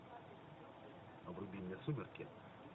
вруби мне сумерки